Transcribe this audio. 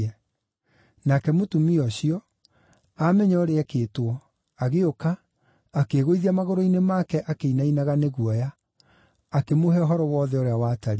Nake mũtumia ũcio, aamenya ũrĩa eekĩtwo, agĩũka, akĩĩgũithia magũrũ-inĩ make akĩinainaga nĩ guoya, akĩmũhe ũhoro wothe ũrĩa watariĩ.